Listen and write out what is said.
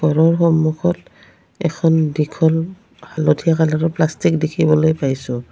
ঘৰৰ সন্মুখত এখন দীঘল হালধীয়া কালাৰৰ প্লাষ্টিক দেখিবলৈ পাইছোঁ।